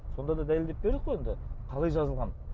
сонда да дәлелдеп бердік қой енді қалай жазылған